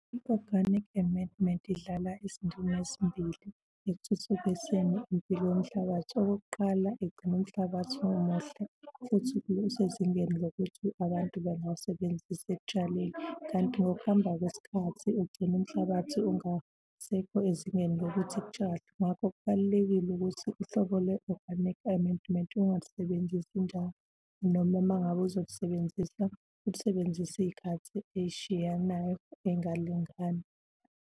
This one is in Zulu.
I-organic amendment idlala izindima ezimbili ekuthuthukiseni impilo yomhlabathi. Okokuqala, igcina umhlabathi umuhle futhi usezingeni lokuthi abantu bengawusebenzisa ekutshaleni, kanti ngokuhamba kwesikhathi ugcina umhlabathi ungasekho ezingeni lokuthi kutshalwe. Ngakho kubalulekile ukuthi uhlobo lwe-organic amendment ungalisebenzisi njalo. Noma uma ngabe uzolisebenzisa, ulisebenzise iy'khathi ey'shiyanayo engalingani.